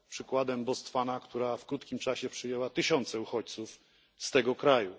Przykładem jest tu Botswana, która w krótkim czasie przyjęła tysiące uchodźców z tego kraju.